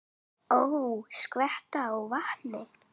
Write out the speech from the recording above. Ó, skvetta á vatni.